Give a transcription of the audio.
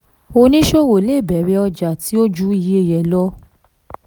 oníṣòwò lè bẹ̀rẹ̀ ọjà tí ó ju iye rẹ̀ lọ.